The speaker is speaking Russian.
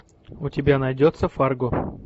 у тебя найдется фарго